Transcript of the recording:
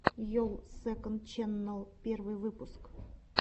йолл сэконд ченнал первый выпуск